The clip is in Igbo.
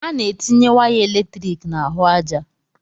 Ana etinye waya eletrik n'ahụ aja.